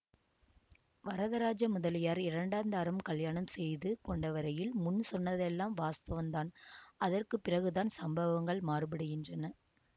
வரதராஜ முதலியார் இரண்டாந்தாரம் கல்யாணம் செய்து கொண்டவரையில் முன் சொன்னதெல்லாம் வாஸ்தவந்தான் அதற்கு பிறகுதான் சம்பவங்கள் மாறுபடுகின்றன